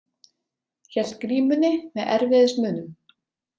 Hélt grímunni með erfiðismunum.